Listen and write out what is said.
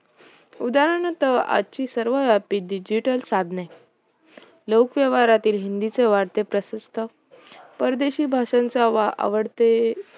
उदाहरणार्थ आजची सर्व digital साधने, लोकव्यवहारातील हिंदीची वाढती प्रतिष्ठा, परदेशी भाषांचे आवडते